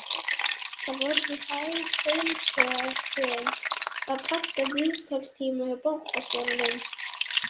Það voru því hæg heimatökin að panta viðtalstíma hjá bankastjóranum.